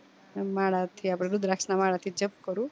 માલા થી આપડે રુદ્રક્ષ માં માલા થી જપ કરું